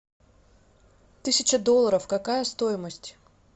тысяча долларов какая стоимость